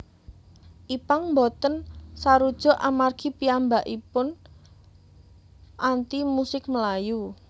Ipank boten sarujuk amargi piyambakaipun anti musik melayu